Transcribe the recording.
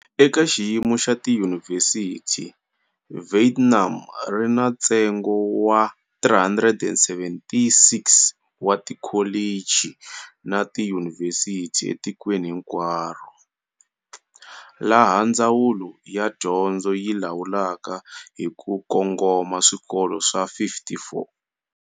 Eka xiyimo xa tiyunivhesiti, Vietnam ri na ntsengo wa 376 wa tikholichi na tiyunivhesiti etikweni hinkwaro, laha Ndzawulo ya Dyondzo yi lawulaka hi ku kongoma swikolo swa 54.